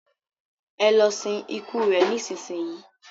ẹ lọ sin ikú rẹ nísinsin yìí!